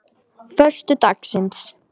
föstudagsins